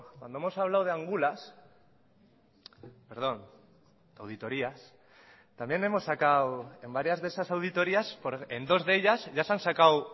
cuando hemos hablado de angulas perdón auditorías también hemos sacado en varias de esas auditorías en dos de ellas ya se han sacado